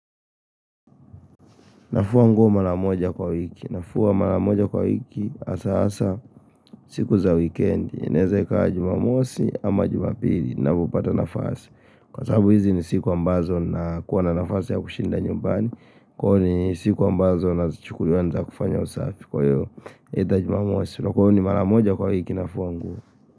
Nafua nguo mara moja kwa wiki. Nafua mara moja kwa wiki hasa hasa siku za weekend. Inaeza kaa jumamosi ama jumapili napopata nafasi. Kwa sababu hizi ni siku ambazo nakuwa na nafasi ya kushinda nyumbani. Inaeza kaa jumamosi ama jumapili na kupata nafasi. Kwa sababu hizi ni siku ambazo na kuwa na nafasi ya kushinda nyumbani.